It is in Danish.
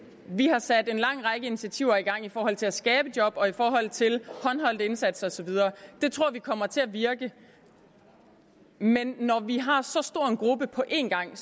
vi har sat en lang række initiativer i gang i forhold til at skabe job og i forhold til håndholdt indsats og så videre det tror vi kommer til at virke men når vi har så stor en gruppe på en gang